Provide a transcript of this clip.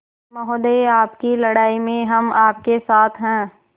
महोदय आपकी लड़ाई में हम आपके साथ हैं